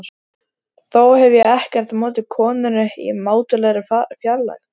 Þó hef ég ekkert á móti konunni í mátulegri fjarlægð.